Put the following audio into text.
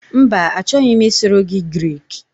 Mba, achọghị m ịsụrụ gị Grik